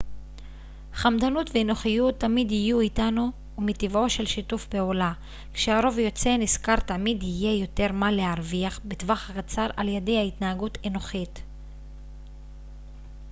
חמדנות ואנוכיות תמיד יהיו איתנו ומטבעו של שיתוף פעולה כשהרוב יוצא נשכר תמיד יהיה יותר מה להרוויח בטווח הקצר על ידי התנהגות אנוכית